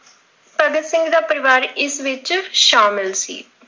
ਭਗਤ ਸਿੰਘ ਦਾ ਪਰਿਵਾਰ ਇਸ ਵਿੱਚ ਸ਼ਾਮਿਲ ਸੀ।